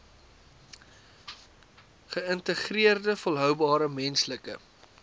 geïntegreerde volhoubare menslike